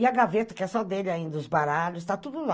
E a gaveta, que é só dele ainda, os baralhos, tá tudo lá.